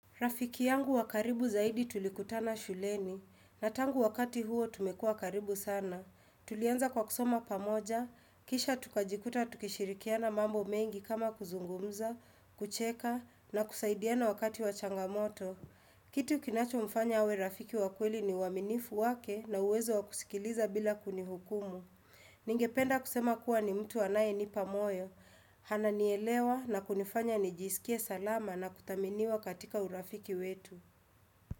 Rafiki yangu wa karibu zaidi tulikutana shuleni, na tangu wakati huo tumekua karibu sana. Tulianza kwa kusoma pamoja, kisha tukajikuta tukishirikiana mambo mengi kama kuzungumza, kucheka, na kusaidiana wakati wa changamoto. Kitu kinacho mfanya awe rafiki wakweli ni uaminifu wake na uwezo wa kusikiliza bila kunihukumu. Ningependa kusema kuwa ni mtu anaye nipamoyo ananielewa na kunifanya nijisikie salama na kuthaminiwa katika urafiki wetu.